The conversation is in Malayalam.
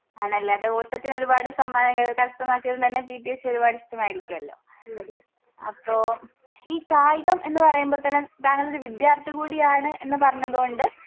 ആണല്ലേ അത് ഓട്ടത്തിനൊരുപാട് സമ്മാനങ്ങൾ കരസ്ഥമാക്കിയത് തന്നെ പി ട്ടി ഉഷയെ ഒരുപാട് ഇഷ്ട്ടാമായിരിക്കോലോ അപ്പൊ ഈ കായികം എന്ന് പരീമ്പോ തന്നെ താങ്കൾ ഒരു വിദ്യാർത്ഥി കൂടി ആണ് എന്ന് പറഞ്ഞതോണ്ട്